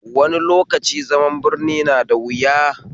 Wani lokaci zaman birni na da wuya